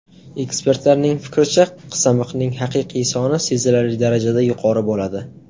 Ekspertlarning fikricha, qizamiqning haqiqiy soni sezilarli darajada yuqori bo‘ladi.